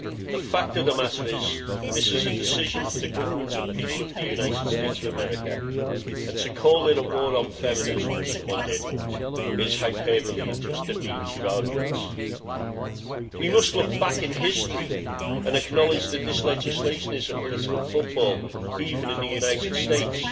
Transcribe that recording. The fact of the matter is this is a decision for the government and people of the United States of America, and to call it war on feminism as someone did, is hyperbole and just demeans their argument. We must look back in history and acknowledge that this legislation is a political football, even in the United States.